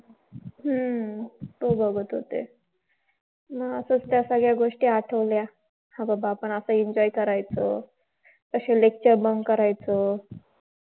हम्म तो बघत होते. मग आता त्या सगळ्या गोष्टी आठवल्या. हा बाबा आपण असा enjoy करायचो. अशी lecture bunk करायचो.